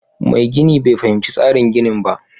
Mai gini bai fahimci tsarin ginin ba